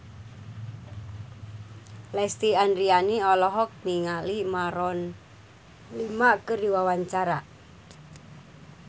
Lesti Andryani olohok ningali Maroon 5 keur diwawancara